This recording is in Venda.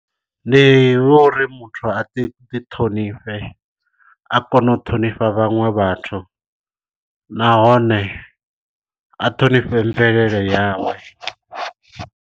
Ndi uri muthu a ḓi ḓi ṱhonifhe a kone u ṱhonifha vhaṅwe vhathu nahone a ṱhonifhe mvelele yawe.